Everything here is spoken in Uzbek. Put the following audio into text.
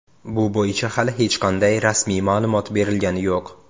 Bu bo‘yicha hali hech qanday rasmiy ma’lumot berilgani yo‘q.